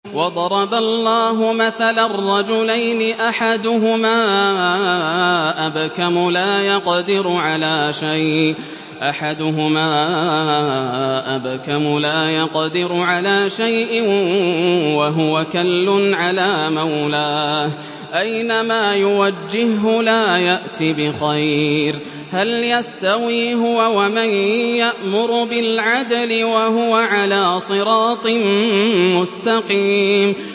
وَضَرَبَ اللَّهُ مَثَلًا رَّجُلَيْنِ أَحَدُهُمَا أَبْكَمُ لَا يَقْدِرُ عَلَىٰ شَيْءٍ وَهُوَ كَلٌّ عَلَىٰ مَوْلَاهُ أَيْنَمَا يُوَجِّههُّ لَا يَأْتِ بِخَيْرٍ ۖ هَلْ يَسْتَوِي هُوَ وَمَن يَأْمُرُ بِالْعَدْلِ ۙ وَهُوَ عَلَىٰ صِرَاطٍ مُّسْتَقِيمٍ